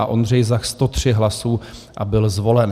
A Ondřej Zach 103 hlasů a byl zvolen.